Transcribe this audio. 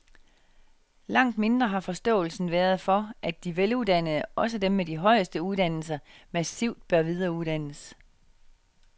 Langt mindre har forståelsen været for, at de veluddannede, også dem med de højeste uddannelser, massivt bør videreuddannes.